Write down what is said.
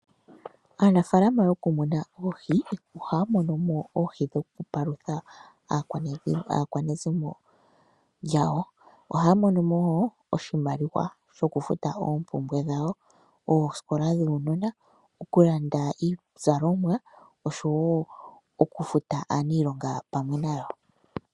Aanafaalama mokumuna oohi, ohaya mono mo oohi dhokupalutha aakwanezimo yawo. Ohaya mono mo wo oshimaliwa shokulanda oompumbwe dhawo, oosikola dhuunona, okulanda iizalomwa nosho wo okufuta aaniilonga yawo.